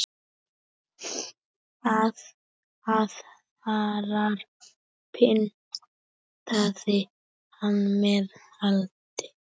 Aðra pyntaði hann með eldi.